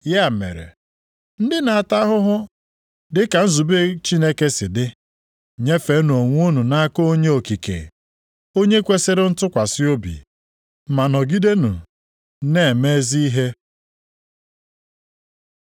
Ya mere, ndị na-ata ahụhụ dị ka nzube Chineke si dị, nyefeenụ onwe unu nʼaka onye okike, onye kwesiri ntụkwasị obi, ma nọgidenụ na-eme ezi ihe.